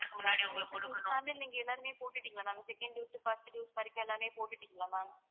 உங்க family ல நீங்க எல்லாருமே போட்டுட்டீங்களா second dose first dose வரைக்கும் எல்லாருமே போட்டுட்டீங்களா ma'am